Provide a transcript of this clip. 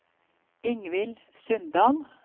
Ingvill Sundal